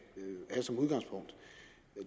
have som udgangspunkt